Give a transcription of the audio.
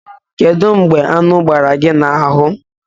Kedu mgbe aṅu gbara gị n'ahụ?